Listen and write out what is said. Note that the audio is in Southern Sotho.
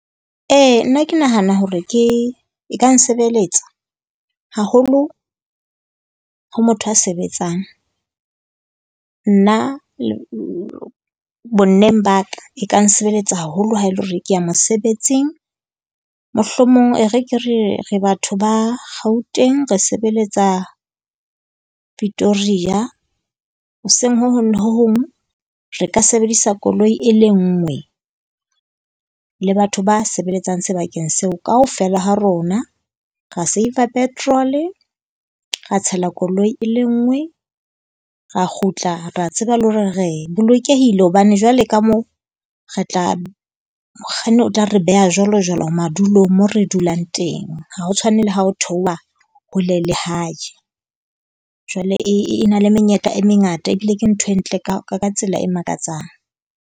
Ee nna ke nahana hore ke e ka nsebeletsa haholo ho motho a sebetsang. Nna bonneng ba ka e ka nsebeletsa haholo haele hore ke ya mosebetsing. Mohlomong e re ke re re batho ba Gauteng re sebeletsa Pitoria. Hoseng ho hong le ho hong re ka sebedisa koloi e le ngwe le batho ba sebeletsang sebakeng seo kaofela ha rona ra save- a petrol-e . Ra tshela koloi e le ngwe, ra kgutla ra tseba le hore re bolokehile hobane jwale ka moo re tla mokganni o tla re beha jwalo jwalo madulong moo re dulang teng. Ha ho tshwane le ha o theoha hole le hae. Jwale e na le menyetla e mengata ebile ke ntho e ntle ka ka tsela e makatsang.